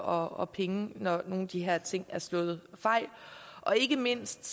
og og penge når nogle af de her ting er slået fejl ikke mindst